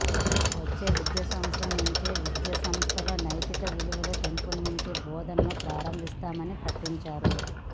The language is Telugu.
వచ్చే విద్యా సంవత్సరం నుంచే విద్యా సంస్థల్లో నైతిక విలువలు పెంపొందించే బోధనలు ప్రారంభిస్తామని ప్రకటించారు